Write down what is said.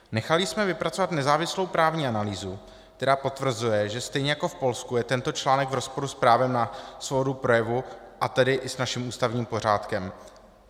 Nechali jsme vypracovat nezávislou právní analýzu, která potvrzuje, že stejně jako v Polsku je tento článek v rozporu s právem na svobodu projevu, a tedy i s naším ústavním pořádkem.